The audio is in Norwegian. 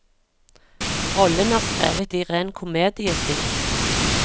Rollen er skrevet i ren komediestil.